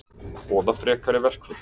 Boða frekari verkföll